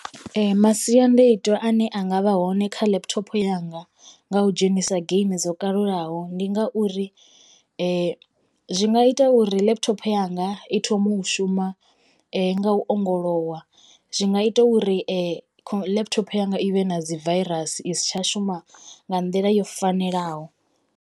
Masiandoitwa ane anga vha hone kha laptop yanga nga u dzhenisa geimi dzo kalulaho ndi nga uri zwi nga ita uri laptop yanga i thome u shuma nga u ongolowa zwi nga ita uri laptop yanga i vhe na dzi virus isi tsha shuma nga nḓila yo fanelaho.